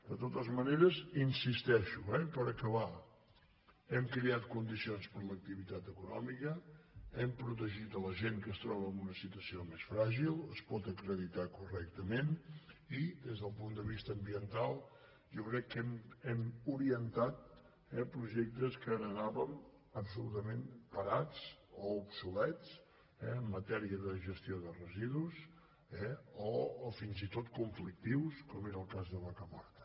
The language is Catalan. de totes maneres hi insisteixo eh per acabar hem creat condicions per a l’activitat econòmica hem pro·tegit la gent que es troba en una situació més fràgil es pot acreditar correctament i des del punt de vista ambiental jo crec que hem orientat projectes que he·retàvem absolutament parats o obsolets en matèria de gestió de residus eh o fins i tot conflictius com era el cas de vacamorta